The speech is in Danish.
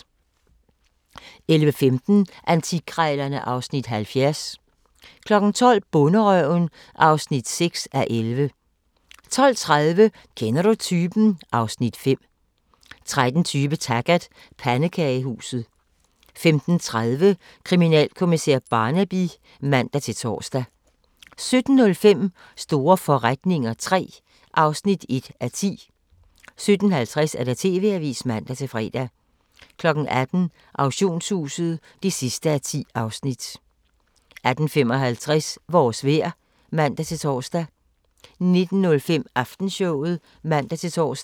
11:15: Antikkrejlerne (Afs. 70) 12:00: Bonderøven (6:11) 12:30: Kender du typen? (Afs. 5) 13:20: Taggart: Pandekagehuset 15:30: Kriminalkommissær Barnaby (man-tor) 17:05: Store forretninger III (1:10) 17:50: TV-avisen (man-fre) 18:00: Auktionshuset (10:10) 18:55: Vores vejr (man-tor) 19:05: Aftenshowet (man-tor)